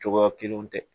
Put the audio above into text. Cogoya kelenw tɛ